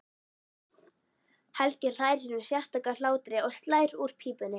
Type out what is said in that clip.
Helgi hlær sínum sérstaka hlátri og slær úr pípunni.